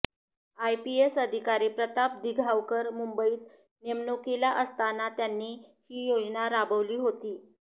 IPS अधिकारी प्रताप दिघावकर मुंबईत नेमणुकीला असताना त्यांनी ही योजना राबवली होती